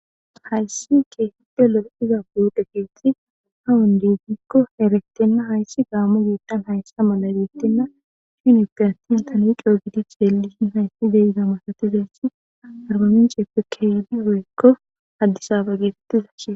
hayssi ke hidde lo7e iza buudhe keetsi ahawun diigikko erektenna hayssi gaammu giitdan hayssa mala deettinna shinipe attin tanicoo gidicheellishin hayssi deyida masatizayssi arbaminceeppekehidi ro7ekko haddisaba geetetiza hiee